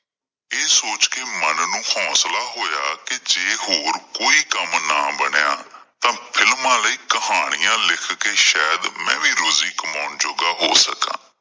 ਇਹ ਸੋਚ ਕਿ ਮਨ ਨੂੰ ਹੌਂਸਲਾਂ ਹੋਇਆ ਕਿ ਜੇ ਹੋਰ ਕੋਈ ਕੰਮ ਨਾ ਬਣਿਆਂ ਤਾਂ films ਲਈ ਕਹਾਣੀਆਂ ਲਿਖ ਕੇ ਸ਼ਾਇਦ ਮੈਂ ਵੀ ਰੋਜ਼ੀ ਕਮਾਉੁਂਣ ਜੋਗਾ ਹੋ ਸਕਦਾ।